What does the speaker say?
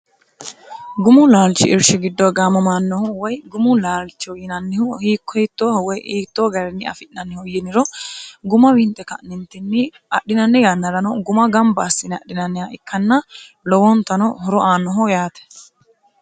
gumu laalchi irshi giddo gaamomannohu woy gumu laalchihu yinannihu hiikko hittooho woy iittoo garinni afi'nannihu yiniro guma wiinte ka'nintinni adhinanni yannarano guma gamba assine adhinanniha ikkanna lowoontano horo aanoho yaate